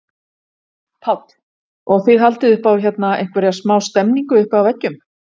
Páll: Og þið haldið upp á hérna einhverja smá stemningu uppi á veggjum?